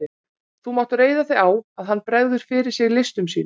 Þú mátt reiða þig á, að hann bregður fyrir sig listum sínum.